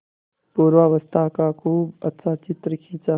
पूर्वावस्था का खूब अच्छा चित्र खींचा